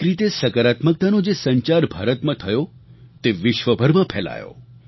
એક રીતે સકારાત્મકતાનો જે સંચાર ભારતમાં થયો તે વિશ્વભરમાં ફેલાયો